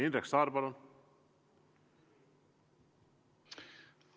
Indrek Saar, palun!